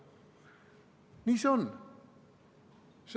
Nii see on.